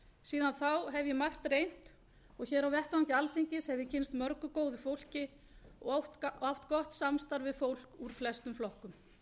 síðan þá hef ég margt reynt og á vettvangi alþingis hef ég kynnst mörgu góðu fólki og oft átt gott samstarf við fólk úr flestum flokkum